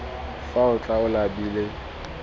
fa o tla o labile